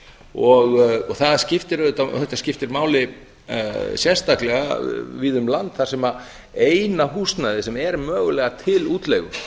og þetta skiptir máli sérstaklega víða um land þar sem eina húsnæðið sem er mögulega til útleigu